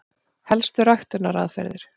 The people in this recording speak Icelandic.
Helstu ræktunaraðferðir: